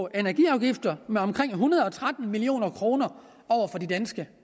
energiafgifter med omkring en hundrede og tretten million kroner for de danske